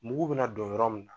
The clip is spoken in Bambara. Mugu bɛ na don yɔrɔ min